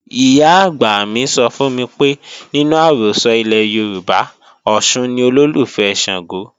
Ìyá-àgbà mi sọ fún mi pé nínú àrọ́sọ ilẹ̀ Yorùbá, Ọ̀ṣun ni olólùfẹ́ Ṣàngó